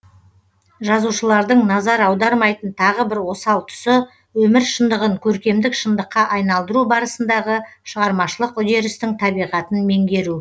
жазушылардың назар аудармайтын тағы бір осал тұсы өмір шындығын көркемдік шындыққа айналдыру барысындағы шығармашылық үдерістің табиғатын меңгеру